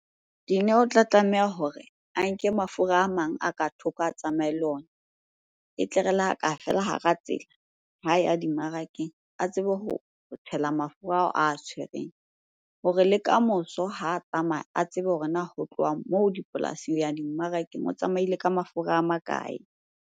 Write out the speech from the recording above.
Dineo o tla tlameha hore a nke mafura a mang a ka thoko a tsamaye le ona. E tle re le ha ka fela hara tsela, ha ya dimmarakeng. A tsebe ho tshela mafura ao a tshwereng hore le kamoso ha tsamaya a tsebe hore na ho tloha moo dipolasing ho ya dimmarakeng, o tsamaile ka mafura a makae?